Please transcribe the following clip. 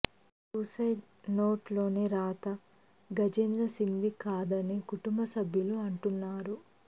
suicide నోట్లోని రాత గజేంద్ర సింగ్ది కాదని కుటుంబ సభ్యులు అంటున్నారు